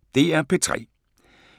DR P3